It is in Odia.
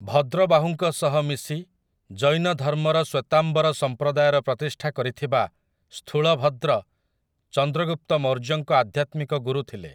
ଭଦ୍ରବାହୁଙ୍କ ସହ ମିଶି ଜୈନ ଧର୍ମର ଶ୍ୱେତାମ୍ବର ସମ୍ପ୍ରଦାୟର ପ୍ରତିଷ୍ଠା କରିଥିବା ସ୍ଥୂଳଭଦ୍ର ଚନ୍ଦ୍ରଗୁପ୍ତ ମୌର୍ଯ୍ୟଙ୍କ ଆଧ୍ୟାତ୍ମିକ ଗୁରୁ ଥିଲେ ।